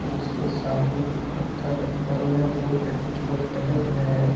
जिसके सामने कुछ पत्थर रखे हुए हैं रोड पे कुछ लोग टहल रहे हैं।